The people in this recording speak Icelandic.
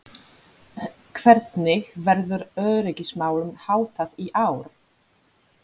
Hvernig verður öryggismálum háttað í ár?